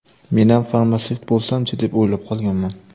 Menam farmatsevt bo‘lsam-chi, deb o‘ylab qolganman.